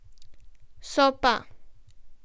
So pa.